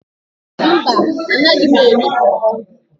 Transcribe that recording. mba, Anaghị m eri por por